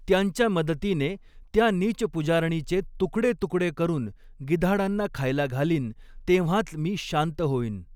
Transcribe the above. त्यांच्या मदतीने त्या नीच पुजारणीचे तुकडे तुकडे करुन गिधाडांना खायला घालीन तेव्हांच मी शांत होईन.